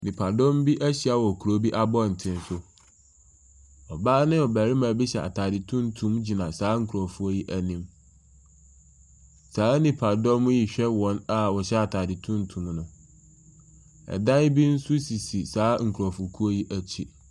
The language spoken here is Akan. Nnipa dɔm bi ahyia wɔ kuro bi abɔnten so. Ɔbaa ne ɔbɛrima bi hyɛ ataade tuntum gyina saa nkurɔfoɔ yi anim. Saa nnipa dɔm yi hwɛ wɔn a wɔhyɛ ataade tuntum no. Ɛdan bi nso sisi saa nnipa dɔm yi akyi.